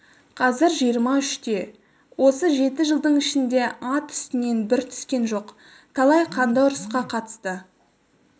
қазір жиырма үште осы жеті жылдың ішінде ат үстінен бір түскен жоқ талай қанды ұрысқа қатысты